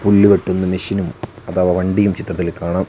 പുല്ലു വെട്ടുന്ന മെഷിനും അഥവാ വണ്ടിയും ചിത്രത്തിൽ കാണാം.